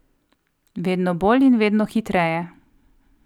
Vedno bolj in vedno hitreje.